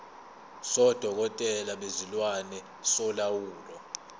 sodokotela bezilwane solawulo